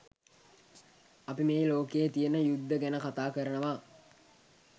අපි මේ ලෝකයේ තියෙන යුද්ධ ගැන කතා කරනවා.